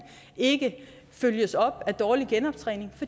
ikke følges op af dårlig genoptræning